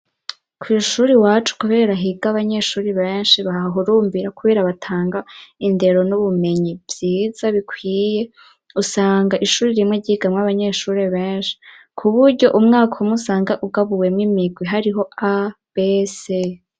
Kw ishuri wacu kubera higa abanyeshuri benshi bahurumbira kubera batanga indero n'ubumenyi vyiza bikwiye, usanga ishuri rimwe ryigamwo abanyeshuri benshi ku buryo umwaka umwe usanga ugabuwemwo imigwi hariho a b c.